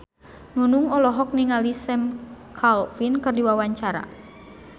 Nunung olohok ningali Sam Claflin keur diwawancara